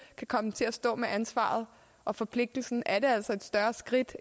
kan komme til at stå med ansvaret og forpligtelsen er altså et større skridt